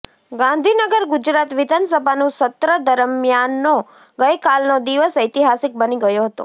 ગાંધીનગરઃ ગુજરાત વિધાનસભાનું સત્ર દરમિયાનનો ગઈ કાલનો દિવસ ઐતિહાસિક બની ગયો હતો